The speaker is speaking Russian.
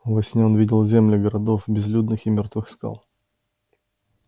во сне он видел земли городов безлюдных и мёртвых скал